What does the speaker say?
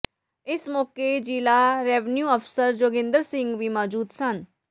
ਇਸ ਮੌਕੇ ਜ਼ਿਲ੍ਹਾ ਰੈਵੀਨਿਊ ਅਫ਼ਸਰ ਜੋਗਿੰਦਰ ਸਿੰਘ ਵੀ ਮੌਜੂਦ ਸਨ